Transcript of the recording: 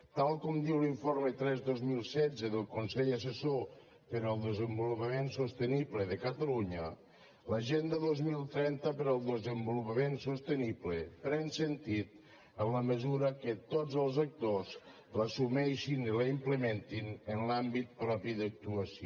tal com diu l’informe tres dos mil setze del consell assessor per al desenvolupament sostenible de catalunya l’agenda dos mil trenta per al desenvolupament sostenible pren sentit en la mesura que tots els actors l’assumeixin i la implementin en l’àmbit propi d’actuació